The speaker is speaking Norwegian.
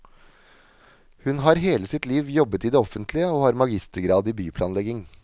Hun har hele sitt liv jobbet i det offentlige, og har magistergrad i byplanlegging.